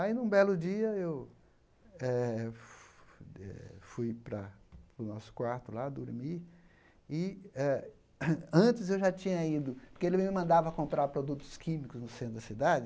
Aí, num belo dia, eu eh eh fui para para o nosso quarto lá dormir e antes eu já tinha ido, porque ele me mandava comprar produtos químicos no centro da cidade,